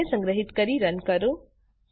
ફાઈલને સંગ્રહીત કરી રન કરો